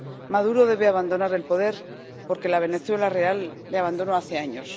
Maduro debe abandonar el poder, porque la Venezuela real le abandonó hace años.